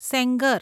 Sengar